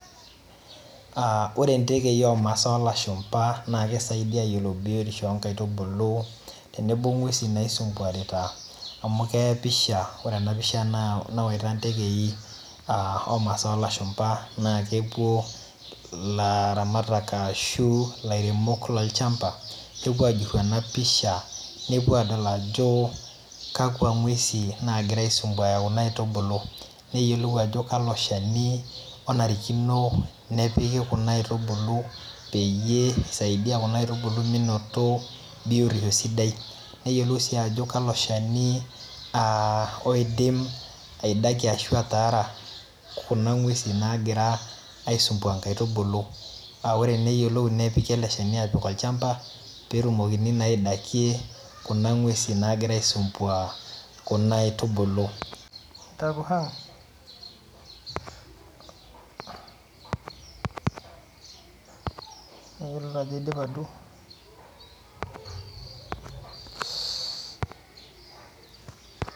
Ore ntekei omasaa olashumba naa kisaidia ayiolou biyotishu oongaitubulu tenebo ngwesi naisumbuanita amu keya emoisha Ore ena pisha naa ontekei omasaa olashumba naa kepuo ilaramatak ashu ilaremok lolchamba, kepuo ajurhu ena pisha nepuo adol ajo kakwa ngwesi nagira aisumbuan kuna aitubulu neyiolou ajo kalo shani onarikino nepiki kuna aitubulu peyie isaidia kuna aitubulu menoto biyotishu sidai Neyiolou sii ajo kalo shani oidim obaiki ashu ataara kuna ngwesi naagira aisumbuan ingaitubulu, ore sii neyiolou ele shani ajo kai epiki tolchamba peetumokini naa aitiyaikie kuna ngwesi naagira aisumbuan kuna aitubulu Tayiolo taa ajo aidipa duo